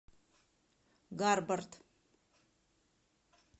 гарбарт